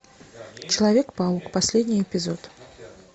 человек паук последний эпизод